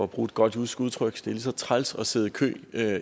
bruge et godt jysk udtryk lige så træls at sidde i kø